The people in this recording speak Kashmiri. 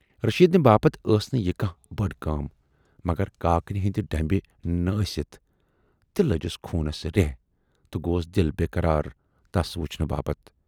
رٔشیٖدنہِ باپتھ ٲس نہٕ یہِ کانہہ بٔڈ کٲم مگر کاکنہِ ہٕندِ ڈٔمبہٕ نہٕ ٲسِتھ تہِ لٔجِس خوٗنس ریے تہٕ گوس دِل بے قرار تس وُچھنہٕ باپتھ۔